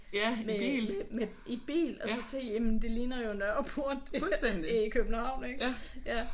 Med med i bil og så tænkte jeg jamen det ligner jo Nørreport det her i København ik